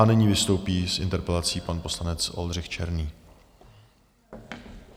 A nyní vystoupí s interpelací pan poslanec Oldřich Černý.